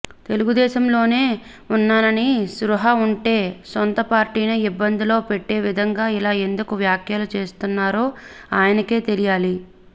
తెలుగుదేశంలోనే ఉన్నాననే స్పృహ ఉంటే సొంతపార్టీనే ఇబ్బందిలో పెట్టేవిధంగా ఇలా ఎందుకు వ్యాఖ్యలు చేస్తున్నారో ఆయనకే తెలియాలి